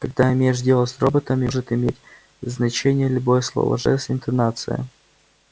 когда имеешь дело с роботами может иметь значение любое слово жест интонация